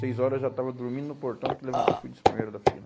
Seis horas eu já estava dormindo no portão que levantou, fui um dos primeiro da fila.